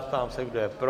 Ptám se, kdo je pro?